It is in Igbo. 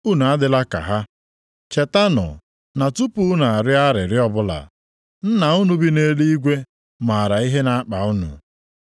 Unu adịla ka ha. Chetanụ na tupu unu arịọ arịrịọ ọbụla, Nna unu bi nʼeluigwe maara ihe na-akpa unu.